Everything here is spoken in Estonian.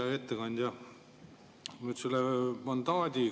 Hea ettekandja!